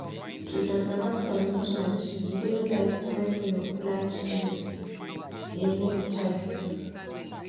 To develop commitment dey like wen you plant tree, e need time.